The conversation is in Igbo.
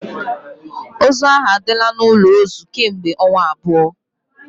Ozu ahụ adịla n'ụlọ ozu kemgbe ọnwa abụọ